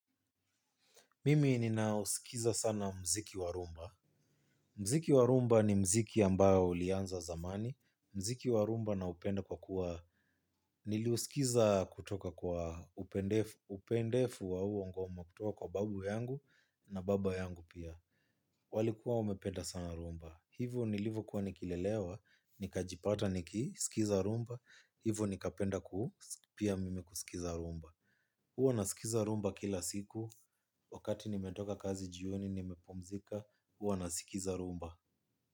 Mimi nina usikiza sana mziki wa rumba. Mziki wa rumba ni mziki ambayo ulianza zamani. Mziki wa rumba naupenda kwa kuwa niliuskiza kutoka kwa upendefu wa huo ngoma kutoka kwa babu yangu na baba yangu pia. Walikuwa wamependa sana rumba. Hivyo nilivokuwa nikilelewa, nikajipata nikisikiza rumba. Hivyo nikapenda kuu, pia mimi kusikiza rumba. Huwa nasikiza rumba kila siku wakati nimetoka kazi jioni nimepumzika huwa nasikiza rumba.